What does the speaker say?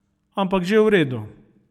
Ampak že v redu.